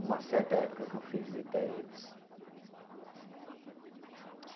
Uma certa época que eu fui visitar eles.